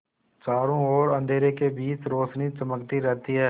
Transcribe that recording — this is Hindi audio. चारों ओर अंधेरे के बीच रौशनी चमकती रहती है